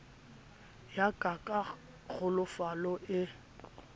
ya ka ka kglofalo e